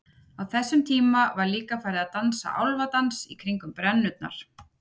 á þessum tíma var líka farið að dansa álfadans kringum brennurnar